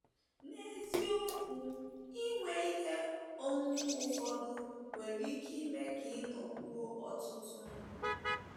N’eziokwu, inwe ihe onwunwe ụfọdụ nwere ike ime ka ị nụkwuo ụtọ ndụ.